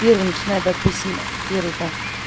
первый напустим начинает первый там